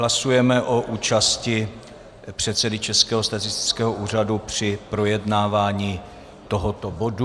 Hlasujeme o účasti předsedy Českého statistického úřadu při projednávání tohoto bodu.